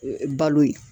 Balo ye